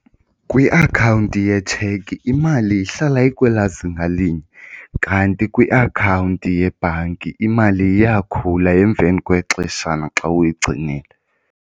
Kwiakhawunti yetshekhi imali ihlala ikwela zinga linye kanti kwiakhawunti yebhanki imali iyakhula emveni kwexeshana xa uyigcinile.